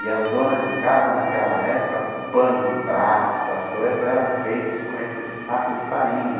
E as donas de casa naquela época, pano de prato, essas coisas, eram feitas com esse saco de farinha.